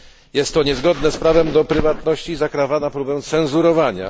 Jest to niezgodne z prawem do prywatności i zakrawa na próbę cenzurowania.